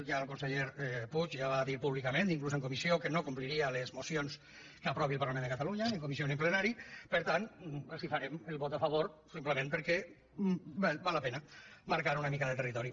ja el conseller puig ja ho va dir públicament fins i tot en comissió que no compliria les mocions que aprovi el parlament de catalunya ni en comissió ni en plenari per tant els farem el vot a favor simplement perquè val la pena marcar una mica de territori